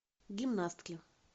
гимнастки